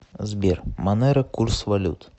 сбер монеро курс валют